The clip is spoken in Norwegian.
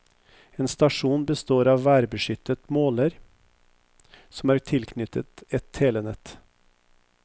En stasjon består av en værbeskyttet måler, som er tilknyttet et telenett.